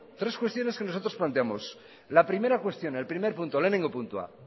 lehenengo puntua